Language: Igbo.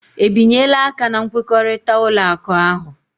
Ebinyela aka na nkwekọrịta ụlọ akụ ahụ?